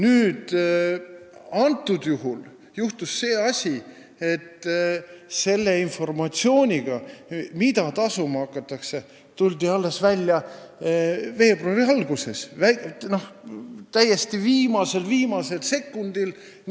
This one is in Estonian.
Praegu juhtus aga selline asi, et selle informatsiooniga, mida tasuma hakatakse, tuldi välja alles veebruari alguses, täiesti viimasel-viimasel sekundil.